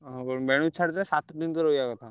ଓହୋ ଛାଡିଦେଲେ ସାତ ଦିନ ତ ରହିବା କଥା।